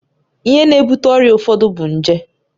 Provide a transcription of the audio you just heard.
Ihe na-ebute ọrịa ụfọdụ bụ nje